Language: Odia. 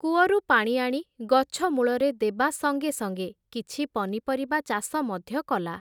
କୂଅରୁ ପାଣି ଆଣି ଗଛ ମୂଳରେ ଦେବା ସଙ୍ଗେ ସଙ୍ଗେ, କିଛି ପନିପରିବା ଚାଷ ମଧ୍ୟ କଲା ।